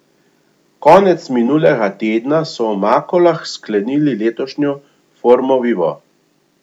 Konec minulega tedna so v Makolah sklenili letošnjo Formo vivo.